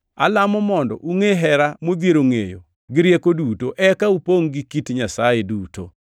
Alamo mondo ungʼe hera modhiero ngʼeyo gi rieko duto, eka upongʼ gi kit Nyasaye duto.